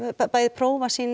bæði prófa sýna